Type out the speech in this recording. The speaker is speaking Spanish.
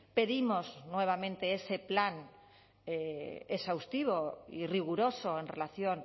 pedimos nuevamente ese plan exhaustivo y riguroso en relación